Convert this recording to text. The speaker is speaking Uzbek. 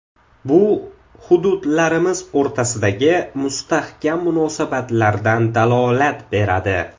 Bu hududlarimiz o‘rtasidagi mustahkam munosabatlardan dalolat beradi.